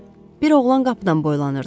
Hə, bir oğlan qapıdan boylanırdı.